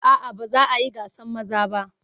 A'a ba za a yi gasan maza ba.